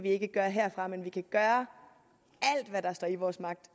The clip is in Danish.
ikke gøre herfra men vi kan gøre alt hvad der står i vores magt